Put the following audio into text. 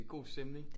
God stemning